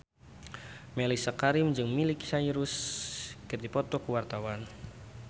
Mellisa Karim jeung Miley Cyrus keur dipoto ku wartawan